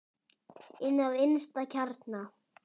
Inn að innsta kjarna.